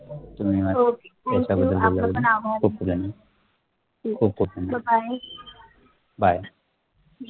तुम्ही म्णजे बोले आपल्या पण आभार खुप पदांनी खुप खुप धन्यवाद bye BYE bye